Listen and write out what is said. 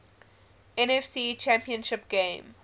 nfc championship game